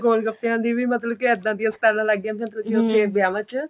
ਗੋਲ ਗੱਪੇਆਂ ਦੀ ਵੀ ਮਤਲਬ ਕੀ ਇੱਦਾਂ ਦੀਆਂ ਸਟਾਲਾਂ ਲੱਗਦੀਆਂ ਸੀ ਮਤਲਬ ਉੱਥੇ ਵਿਆਵਾਂ ਚ